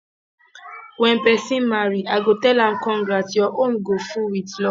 when person marry i go tell am congrats your home go full with love